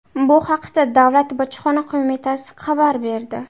Bu haqda Davlat bojxona qo‘mitasi xabar berdi .